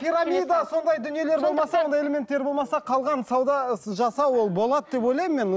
пирамида сондай дүниелер болмаса ондай элементтер болмаса қалған сауда жасау ол болады деп ойламын мен